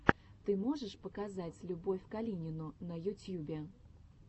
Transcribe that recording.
ты можешь показать любовь калинину на ютьюбе